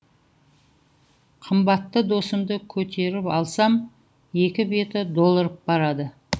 қымбатты досымды көтеріп алсам екі беті долырып барады